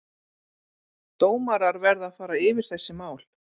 Dómarar verða að fara yfir þessi mál.